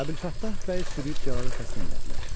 Əbülfəttah bəy sürüb cəllada təslim elədilər.